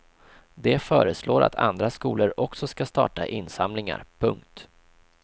De föreslår att andra skolor också ska starta insamlingar. punkt